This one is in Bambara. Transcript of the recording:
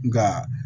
Nka